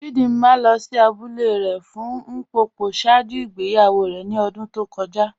Chídìmà lọ sí àbúlẹ̀ rẹ̀ fún Ḿpòpò ṣáàjú ìgbèyàwó rẹ̀ ní ọ̀dún tó kọ́já